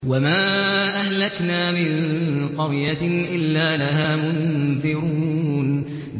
وَمَا أَهْلَكْنَا مِن قَرْيَةٍ إِلَّا لَهَا مُنذِرُونَ